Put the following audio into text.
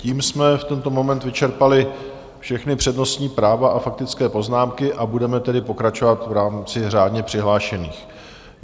Tím jsme v tento moment vyčerpali všechna přednostní práva a faktické poznámky, a budeme tedy pokračovat v rámci řádně přihlášených.